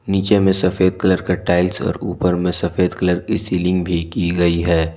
नीचे में सफेद कलर का टाइल्स और ऊपर में सफेद कलर का सीलिंग भी की गई है।